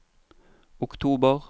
oktober